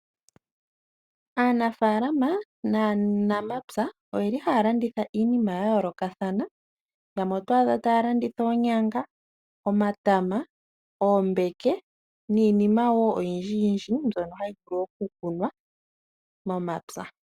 Aanafalama naanamapya oyeli haya landitha iinima ya yoolokathana, yamwe oto adha taya landitha oonyanga, omatama, oombeke, niinima wo oyindjiyindji mbyono hayi vulu oku kunwa momapya.